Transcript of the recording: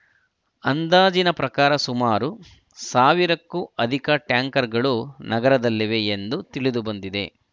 ಅಂದಾಜಿನ ಪ್ರಕಾರ ಸುಮಾರು ಸಾವಿರಕ್ಕೂ ಅಧಿಕ ಟ್ಯಾಂಕರ್‌ಗಳು ನಗರದಲ್ಲಿವೆ ಎಂದು ತಿಳಿದುಬಂದಿದೆ